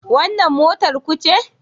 Wannan motar ku ce?